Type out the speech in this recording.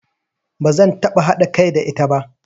Ba zan taɓa haɗa kai da ita ba.